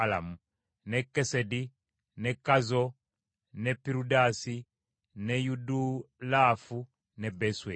ne Kesedi, ne Kazo, ne Pirudaasi, ne Yidulaafu ne Besweri.”